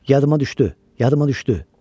Yadıma düşdü, yadıma düşdü.